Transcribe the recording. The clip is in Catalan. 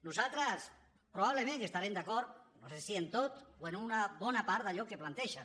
nosaltres probablement estarem d’acord no sé si amb tot o amb una bona part d’allò que plantegen